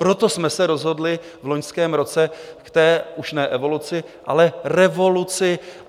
Proto jsme se rozhodli v loňském roce k té už ne evoluci, ale revoluci.